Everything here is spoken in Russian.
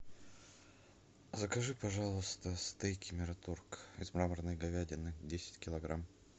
закажи пожалуйста стейки мираторг из мраморной говядины десять килограмм